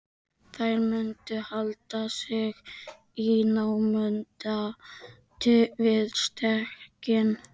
Þær mundu halda sig í námunda við stekkinn.